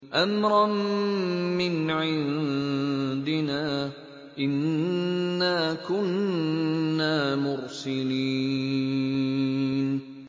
أَمْرًا مِّنْ عِندِنَا ۚ إِنَّا كُنَّا مُرْسِلِينَ